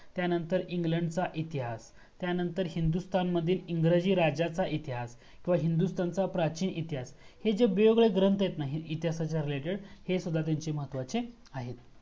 त्यानंतर इंग्लंड चा इतिहास त्यानंतर हिंदुस्तान मध्ये इंग्रजी राज्याचा इतिहास किवा हिंदुस्तानचा प्राचीन इतिहास हे जे वेगवेगळे ग्रंथ आहेत. ना ते इतिहासाच्या RELATED हे सुद्धा त्याचे महत्वाचे आहेत.